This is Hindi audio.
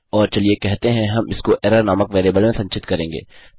और चलिए कहते हैं हम इसको एरर नामक वेरिएबल में संचित करेंगे